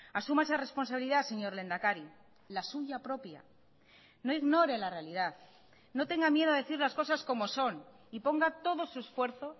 asuma esa responsabilidad señor lehendakari la suya propia no ignore la realidad no tenga miedo a decir las cosas como son y ponga todo su esfuerzo